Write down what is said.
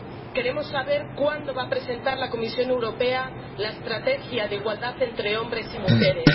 Queremos saber cuándo va a presentar la Comisión Europea la estrategia de igualdad entre hombres y mujeres.